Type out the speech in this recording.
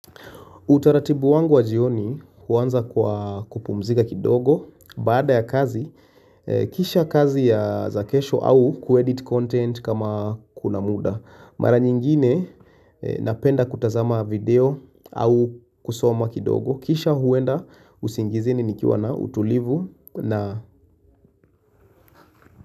Utaratibu wangu wa jioni huanza kwa kupumzika kidogo baada ya kazi, kisha kazi ya kesho au kuedit content kama kuna muda. Mara nyingine napenda kutazama video au kusoma kidogo, kisha huenda usingizini nikiwa na utulivu na.